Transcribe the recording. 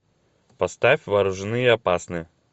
поставь вооружены и опасны